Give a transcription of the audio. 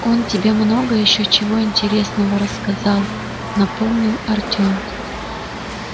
он тебе много ещё чего интересного рассказал напомнил артём